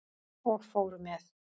Og fóru með.